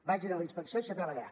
vagi a la inspecció i se treballarà